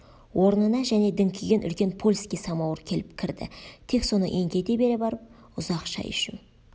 орнына және діңкиген үлкен польский самауыр келіп кірді тек соны еңкейте бере барып ұзақ шай ішу